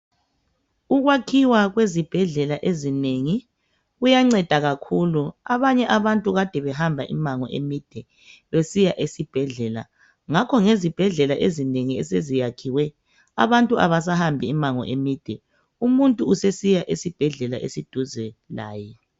Ukwakhiwa kwezibhedlela ezinengi kuyanceda kakhulu, abanye abantu Kade behamba imango emide besiya esibhedlela , ngakho ngezibhedlela ezinengi eseziyakhiwe abantu abasahambi imango emide , umuntu usesiya esibhedlela esiseduze laye